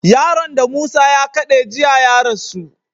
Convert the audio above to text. Yaron da musa ya kade jiya ya rasu